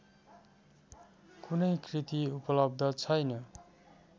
कुनै कृति उपलब्ध छैन